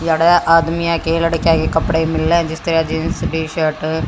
आदमीया के लड़किया के कपड़े मिलै जिस तरह जीन्स टी_शर्ट --